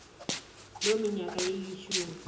loo minyaka ilishumi